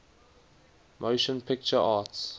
motion picture arts